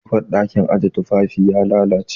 Ƙofar ɗakin aje tufafi ya lallace jiya